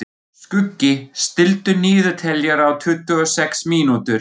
Skuggi, stilltu niðurteljara á tuttugu og sex mínútur.